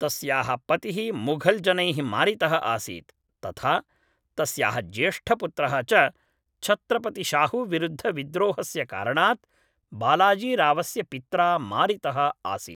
तस्याः पतिः मुघल्जनैः मारितः आसीत्, तथा तस्याः ज्येष्ठपुत्रः च छत्रपतिशाहूविरुद्धविद्रोहस्य कारणात् बालाजीरावस्य पित्रा मारितः आसीत्।